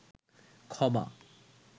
ক্ষমা